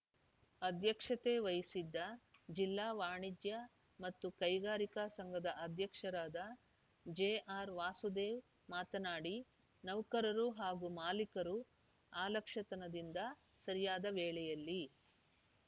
ಅಧ್ಯಕ್ಷತೆ ವಹಿಸಿದ್ದ ಜಿಲ್ಲಾ ವಾಣಿಜ್ಯ ಮತ್ತು ಕೈಗಾರಿಕಾ ಸಂಘದ ಅಧ್ಯಕ್ಷರಾದ ಜೆ ಆರ್‌ ವಾಸುದೇವ್‌ ಮಾತನಾಡಿ ನೌಕರರು ಹಾಗೂ ಮಾಲೀಕರು ಅಲಕ್ಷ್ಯತನದಿಂದ ಸರಿಯಾದ ವೇಳೆಯಲ್ಲಿ